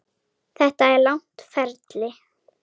Þetta er langt ferli.